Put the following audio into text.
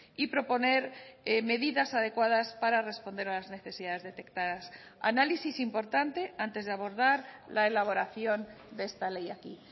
y proponer medidas adecuadas para responder a las necesidades detectadas análisis importante antes de abordar la elaboración de esta ley aquí